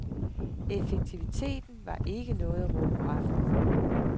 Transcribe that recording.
Effektiviteten var ikke noget at råbe hurra for.